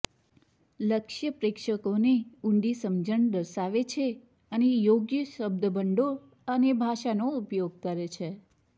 લક્ષ્ય પ્રેક્ષકોની ઊંડી સમજણ દર્શાવે છે અને યોગ્ય શબ્દભંડોળ અને ભાષાનો ઉપયોગ કરે છે